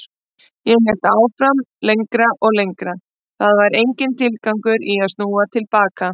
Ég hélt áfram lengra og lengra, það var enginn tilgangur í að snúa til baka.